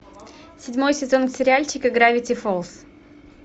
седьмой сезон сериальчика гравити фолз